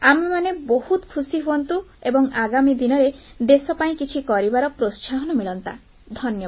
ଫଳରେ ଆମେମାନେ ବହୁତ ଖୁସି ହୁଅନ୍ତୁ ଏବଂ ଆଗାମୀ ଦିନରେ ଦେଶ ପାଇଁ କିଛି କରିବାର ପ୍ରୋତ୍ସାହନ ମିଳନ୍ତା